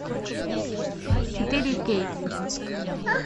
четыре кей